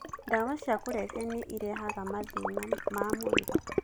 Ndawa cia kũrebia nĩ irehaga mathĩna ma mwĩrĩ.